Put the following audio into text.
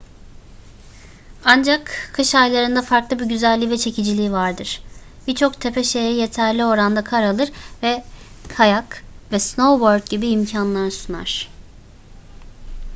ancak kış aylarında farklı bir güzelliği ve çekiciliği vardır birçok tepe şehri yeterli oranda kar alır ve kayak ve snowboard gibi imkanlar sunar